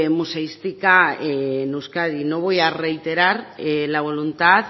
museística en euskadi no voy a reiterar la voluntad